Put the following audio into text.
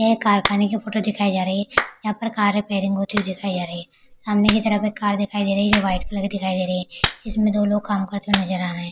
यह एक कारखाने की फोटो दिखाई जा रही है यहाँ पर कार रिपेरिंग होती हुई दिखाई जा रही है। सामने की तरफ एक कार दिखाई दे रही है जो वाइट कलर की दिखाई दे रही है जिसमे दो लोग काम करते हुए नजर आ रहे है।